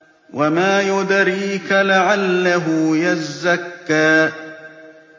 وَمَا يُدْرِيكَ لَعَلَّهُ يَزَّكَّىٰ